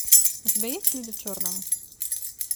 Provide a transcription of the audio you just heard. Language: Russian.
у тебя есть люди в черном